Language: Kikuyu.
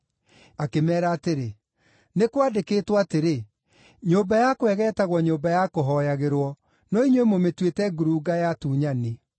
Akĩmeera atĩrĩ, “Nĩ kwandĩkĩtwo atĩrĩ, ‘Nyũmba yakwa ĩgeetagwo nyũmba ya kũhooyagĩrwo,’ no inyuĩ mũmĩtuĩte ‘ngurunga ya atunyani.’ ”